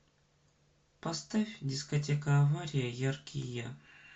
поставь дискотека авария яркий я